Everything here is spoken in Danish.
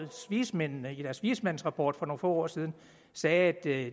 vismændene i deres vismandsrapport for nogle få år siden sagde at der